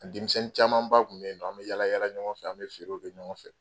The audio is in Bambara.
Denmisɛnnin caman ba tun bɛ yen nɔ, an bɛ yaala yaala ɲɔgɔn fɛ, an bɛ feere kɛ ɲɔgɔn fɛ.